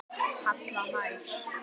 Halla hlær.